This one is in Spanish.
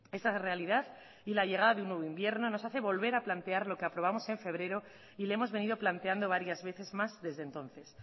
esa realidad y la llegada de un nuevo invierno nos hace volver a plantear lo que aprobamos en febrero y le hemos venido planteando varias veces más desde entonces